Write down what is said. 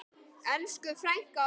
Elsku frænka okkar.